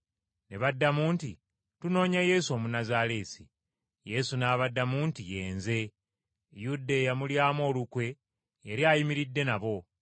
Ne baddamu nti, “Tunoonya Yesu Omunnazaaleesi.” Yesu n’abaddamu nti, “Ye Nze,” Yuda, eyamulyamu olukwe, yali ayimiridde nabo.